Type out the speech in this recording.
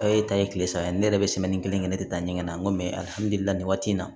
e ta ye kile saba ye ne yɛrɛ be kelen kɛ ne te taa ɲɛgɛn na n ko nin waati in na